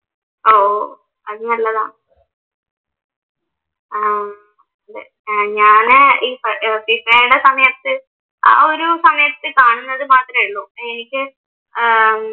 അഹ് ഓഹ് അത് നല്ലതാ. ഏർ ഞാന് ഈ വിസെടെ സമയത്ത് ആ ഒരു സമയത്ത് കാണുന്നത് മാത്രമേ ഉള്ളു. എനിക്ക് ഏർ